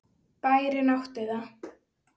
Bærinn átti það.